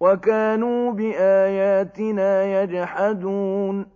وَكَانُوا بِآيَاتِنَا يَجْحَدُونَ